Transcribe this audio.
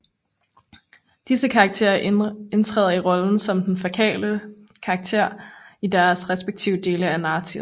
Disse karakterer indtræder i rollen som den fokale karakter i deres respektive dele af narrativet